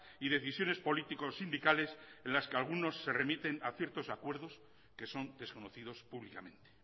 y decisiones político sindicales en las que algunos se remiten a ciertos acuerdos que son desconocidos públicamente